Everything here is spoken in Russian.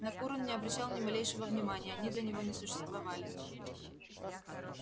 на кур он не обращал ни малейшего внимания они для него не существовали